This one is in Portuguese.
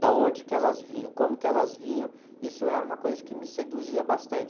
da onde que elas vinham, como que elas vinham, isso era uma coisa que me seduzia bastante.